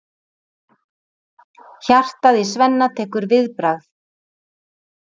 Hjartað í Svenna tekur viðbragð.